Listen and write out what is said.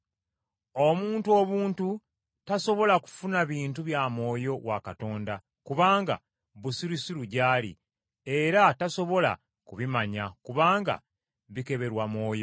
Omuntu obuntu tasobola kufuna bintu bya Mwoyo wa Katonda, kubanga busirusiru gy’ali, era tasobola kubimanya, kubanga bikeberwa Mwoyo.